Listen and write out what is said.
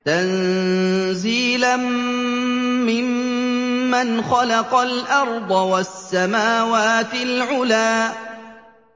تَنزِيلًا مِّمَّنْ خَلَقَ الْأَرْضَ وَالسَّمَاوَاتِ الْعُلَى